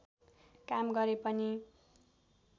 काम गरे पनि